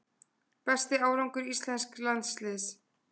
Besti árangur íslensks landsliðs